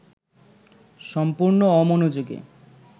সম্পূর্ণ অমনোযোগী